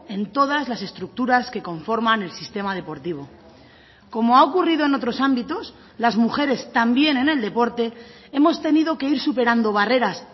en todas las estructuras que conforman el sistema deportivo como ha ocurrido en otros ámbitos las mujeres también en el deporte hemos tenido que ir superando barreras